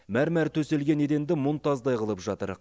мәрмар төселген еденді мұнтаздай қылып жатыр